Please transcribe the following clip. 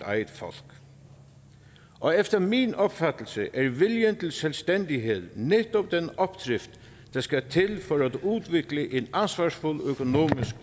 eget folk og efter min opfattelse er viljen til selvstændighed netop den opdrift der skal til for at udvikle en ansvarsfuld økonomisk